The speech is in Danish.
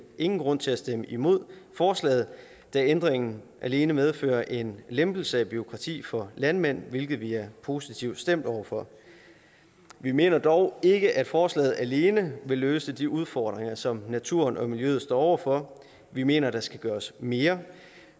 ingen grund til at stemme imod forslaget da ændringen alene medfører en lempelse af et bureaukrati for landmænd hvilket vi er positivt stemt over for vi mener dog ikke at forslaget alene vil løse de udfordringer som naturen og miljøet står over for vi mener at der skal gøres mere